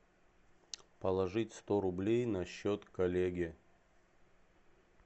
положить сто рублей на счет коллеге